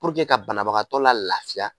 ka banabagatɔ la lafiya